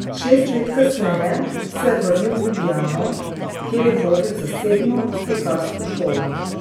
Šest let kasneje se je vrnil v Ljubljano, kjer je vodil zasebno slikarsko šolo.